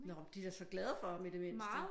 Nå men de er så glade for ham i det mindste